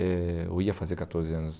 Eh eu ia fazer catorze anos.